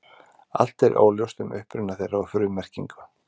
Allt er óljóst um uppruna þeirra og frummerkingu.